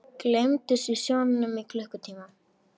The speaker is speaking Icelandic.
Gleymdust í sjónum í klukkutíma